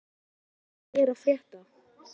Elly, hvað er að frétta?